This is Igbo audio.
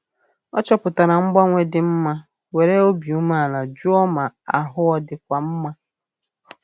Ọ chọpụtara mgbanwe dị ma were obi umeala jụọ ma ahụ ọ dịkwa mma